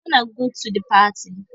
wanna go to the party